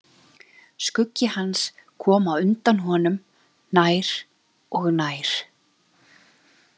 Skuggi hans kom á undan honum, nær og nær.